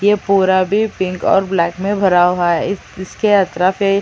यह पूरा भी पिंक और ब्लैक में भरा हुआ है अ तफरा --